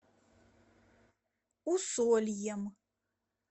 усольем